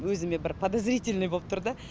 өзіме бір подозрительный болып тұрды да